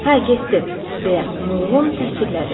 Hə, getdi, - deyə Mılğun təsdiqlədi.